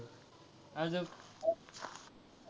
अजून.